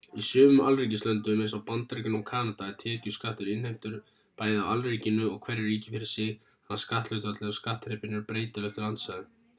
í sumum alríkislöndum eins og bandaríkjunum og kanada er tekjuskattur innheimtur bæði af alríkinu og hverju ríki fyrir sig þannig að skatthlutfallið og skattþrepin eru breytileg eftir landsvæðum